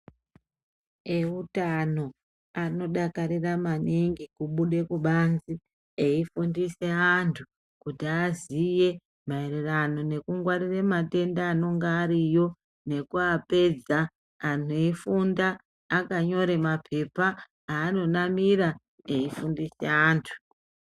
Eutano, anodakarira maningi, kubude kubanzi, eifundise antu kuti aziye maererano nekungwarire matenda anenga ariyo nekuapedza. Anhu eifunda akanyore maphepha ,aanenge akanamira , eifundise antu.